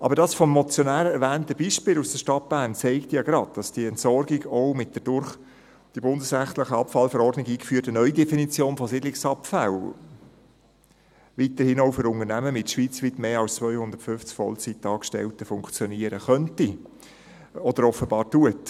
Aber das vom Motionär erwähnte Beispiel aus der Stadt Bern zeigt ja gerade, dass die Entsorgung auch mit der durch die bundesrechtliche VVEA eingeführte Neudefinition von Siedlungsabfällen weiterhin auch für Unternehmen mit schweizweit mehr als 250 Vollzeitangestellten funktionieren könnte oder das offenbar tut.